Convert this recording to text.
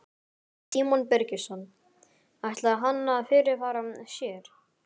Símon Birgisson: Ætlaði hann að fyrirfara sér?